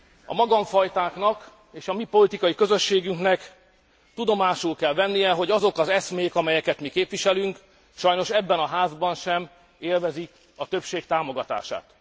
A magamfajtáknak és a mi politikai közösségünknek tudomásul kell vennie, hogy azok az eszmék, amelyeket mi képviselünk, sajnos ebben a házban sem élvezik a többség támogatását.